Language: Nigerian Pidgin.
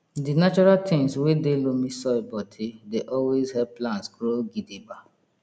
di natural tins wey dey loamy soil bodi dey always help plants grow gidigba